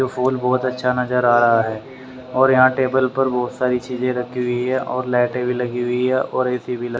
फूल बहुत अच्छा नज़र आ रहा है और यहां टेबल पर बहुत सारी चीजें रखी हुई है और लाइटें भी लगी हुई है और ए_सी भी ल--